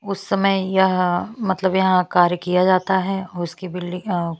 उस समय यह मतलब यहाँ कार्य किया जाता है उसकी बिल्डिंग अ--